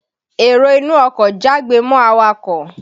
Èrò inú ọkọ̀ jágbe mọ́ awakọ̀